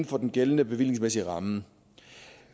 for den gældende bevillingsmæssige ramme